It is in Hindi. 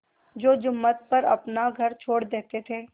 तो जुम्मन पर अपना घर छोड़ देते थे